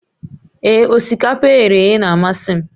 Ee, osikapa e ghere eghe na-amasị m